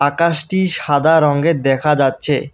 আকাশটি সাদা রঙের দেখা যাচ্ছে।